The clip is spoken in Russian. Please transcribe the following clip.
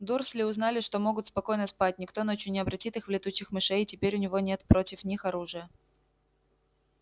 дурсли узнали что могут спокойно спать никто ночью не обратит их в летучих мышей и теперь у него нет против них оружия